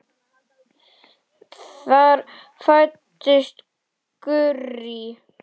Þar fæddist Gurrý.